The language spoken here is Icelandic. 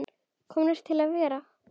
Komin til að vera?